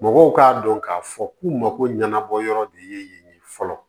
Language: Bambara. Mɔgɔw k'a dɔn k'a fɔ k'u mako ɲɛnabɔ yɔrɔ de ye yen fɔlɔ